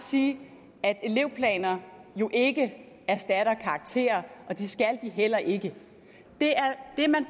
sige at elevplaner jo ikke erstatter karakterer og det skal de heller ikke det man